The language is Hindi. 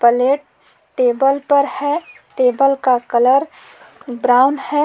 प्लेट टेबल पर है टेबल का कलर ब्राउन है।